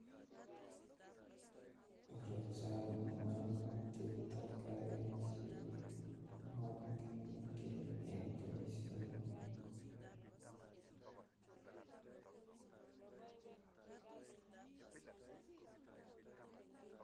Ochon ngomnotet ak karik cheimokinigei en boishoni